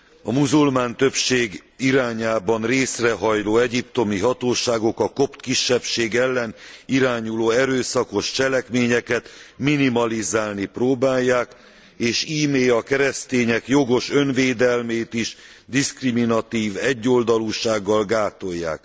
A muzulmán többség irányában részrehajló egyiptomi hatóságok a kopt kisebbség ellen irányuló erőszakos cselekményeket minimalizálni próbálják, és íme a keresztények jogos önvédelmét is diszkriminatív egyoldalúsággal gátolják.